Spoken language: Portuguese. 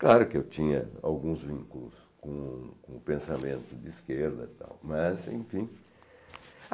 Claro que eu tinha alguns vínculos com o com o pensamento de esquerda e tal, mas enfim.